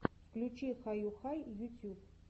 включи хаюхай ютьюб